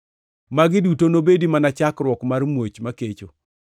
Magi duto nobed mana chakruok mar muoch makecho.